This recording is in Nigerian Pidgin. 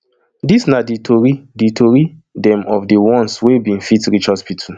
dis na di tori di tori dem of di ones wey bin fit reach hospital